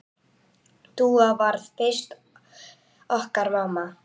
Dúa varð fyrst okkar mamma.